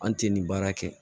An tɛ nin baara kɛ